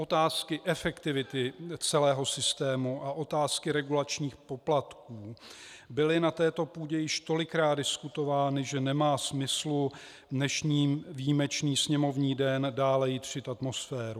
Otázky efektivity celého systému a otázky regulačních poplatků byly na této půdě již tolikrát diskutovány, že nemá smyslu v dnešní výjimečný sněmovní den dále jitřit atmosféru.